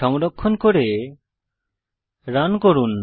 সংরক্ষণ করে রান করুন